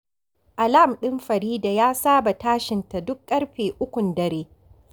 Alam ɗin Farida ya saba tashin ta duk ƙarfe ukun dare